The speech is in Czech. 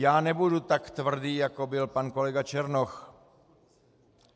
Já nebudu tak tvrdý jako byl pan kolega Černoch.